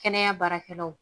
Kɛnɛya baarakɛlaw